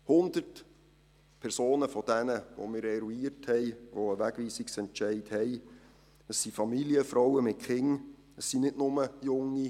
100 Personen von denjenigen, die wir eruiert haben, die einen Wegweisungsentscheid haben, sind Familienfrauen mit Kindern.